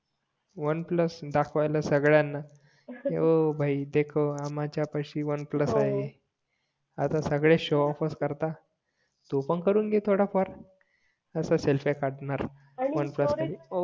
one plus दाखवायला सगळयांना कि हो माझ्या पाशी वन प्लस आहे आता सगळे शोऑफ करता तू पण करून घे थोडा फार असा सेल्फ्या काडनार वन प्लस मध्ये